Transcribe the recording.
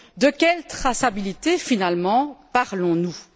De quelle traçabilité, finalement, parlons nous?